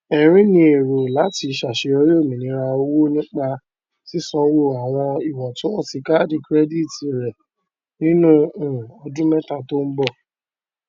erin ní èrò láti ṣàṣeyọrí òmìnira owó nípa sísanwó àwọn ìwọntúnwọnsì kaàdì kirẹdìtì rẹ nínú um ọdún mẹta tó ń bọ